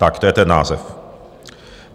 Tak to je ten název.